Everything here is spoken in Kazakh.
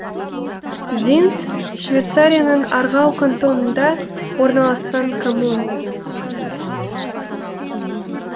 зинс швейцарияның аргау кантонында орналасқан коммуна